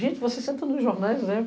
Gente, você senta nos jornais, né?